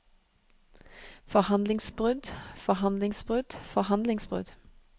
forhandlingsbrudd forhandlingsbrudd forhandlingsbrudd